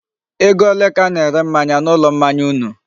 Ego ole ka a na-ere mmanya na ulo mmanya unu?